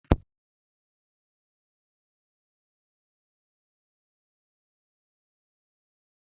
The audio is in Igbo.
Jake na ndị enyi ya na-amakarị onye ha aka onye ga erichaa otu efere tuwo.